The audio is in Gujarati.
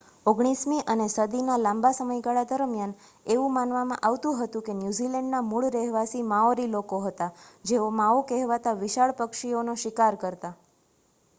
ઓગણીસમી અને સદીના લાંબા સમયગાળા દરમિયાન એવું માનવામાં આવતું હતું કે ન્યૂઝીલૅન્ડના મૂળ રહેવાસી માઓરી લોકો હતાં જેઓ માઓ કહેવાતા વિશાળ પક્ષીઓનો શિકાર કરતાં